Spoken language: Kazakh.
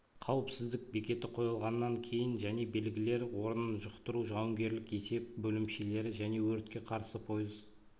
қауіпсіздік бекеті қойылғаннан кейін және белгілер орнын жұқтыру жауынгерлік есеп бөлімшелері және өртке қарсы пойыз